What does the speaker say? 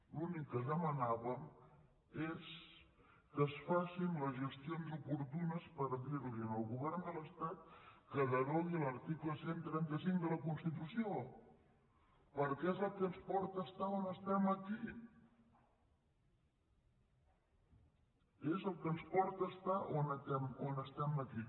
l’únic que demanàvem és que es facin les gestions oportunes per dir al govern de l’estat que derogui l’article cent i trenta cinc de la constitució perquè és el que ens porta a estar on estem aquí és el que ens porta a estar on estem aquí